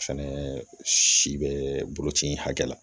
Fɛnɛ si bɛ buruti hakɛ la